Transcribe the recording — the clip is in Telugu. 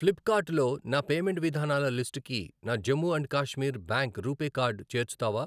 ఫ్లిప్కార్ట్ లో నా పేమెంట్ విధానాల లిస్టుకి నా Jammu and Kashmir bank RuPay card చేర్చుతావా?